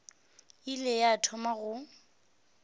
e ile ya thoma go